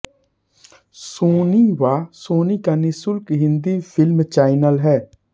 Soni Wah Sony का निःशुल्क Hindi film channel है